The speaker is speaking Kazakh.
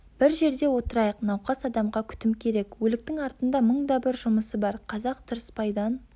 бір жерде отырайық науқас адамға күтім керек өліктің артында мың да бір жұмысы бар қазақ тырыспайдан